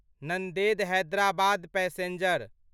Nanded Hyderabad passenger